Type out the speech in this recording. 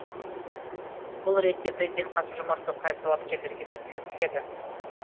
бұл ретте президент қасым жомарт тоқаев талапкерлерге сәттілік тіледі